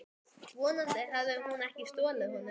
Vonandi hafði hún ekki stolið honum.